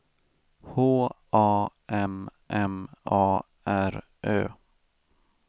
H A M M A R Ö